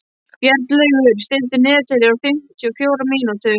Bjarnlaugur, stilltu niðurteljara á fimmtíu og fjórar mínútur.